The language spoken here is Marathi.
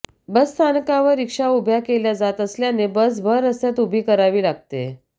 बसस्थानकावर रिक्षा उब्या केल्या जात असल्याने बस भर रस्त्यात उभी करावी लागतेय